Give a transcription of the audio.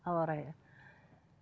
ауа райы